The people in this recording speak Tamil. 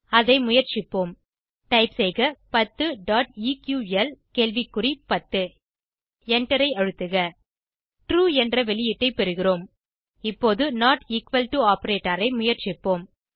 அதை முயற்சிப்போம் டைப் செய்க 10 eql10 எண்டரை அழுத்துக ட்ரூ என்ற வெளியீட்டை பெறுகிறோம் இப்போது நோட் எக்குவல் டோ ஆப்பரேட்டர் ஐ முயற்சிப்போம்